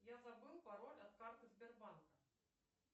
я забыл пароль от карты сбербанка